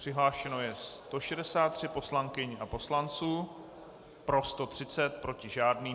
Přihlášeno je 163 poslankyň a poslanců, pro 130, proti žádný.